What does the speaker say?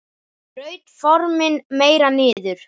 Braut formin meira niður.